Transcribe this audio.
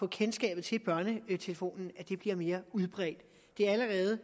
kendskabet til børnetelefonen bliver mere udbredt det er allerede